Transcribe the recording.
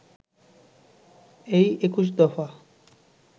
এই ২১ দফা